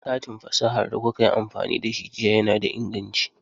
Katin fasahar da kuka yi amfani da shi jiya yana da inganci.